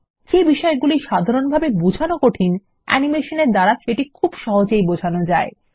যে বিষয়গুলো সাধারনভাবে বোঝান কঠিন অ্যানিমেশন এর দ্বারা সেটি খুব সহজেই বোঝানো যায়